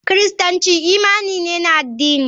Kiristanci imani ne na addini.